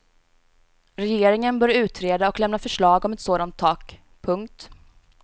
Regeringen bör utreda och lämna förslag om ett sådant tak. punkt